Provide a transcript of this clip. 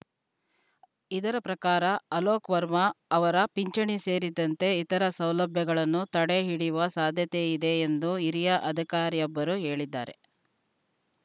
ಇದರ ಪ್ರಕಾರ ಅಲೋಕ್‌ ವರ್ಮಾ ಅವರ ಪಿಂಚಣಿ ಸೇರಿದಂತೆ ಇತರ ಸೌಲಭ್ಯಗಳನ್ನುತಡೆ ಹಿಡಿಯುವ ಸಾಧ್ಯತೆಯಿದೆ ಎಂದು ಹಿರಿಯ ಅಧಿಕಾರಿಯೊಬ್ಬರು ಹೇಳಿದ್ದಾರೆ